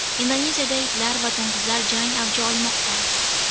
Indoneziyada itlar va to‘ng‘izlar jangi avj olmoqda.